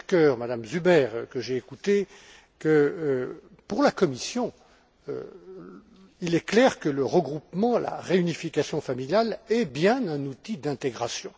Pirker, Mme Zuber, que j'ai écoutés, que, pour la Commission, il est clair que le regroupement, la réunification familiale est bien un outil d'intégration.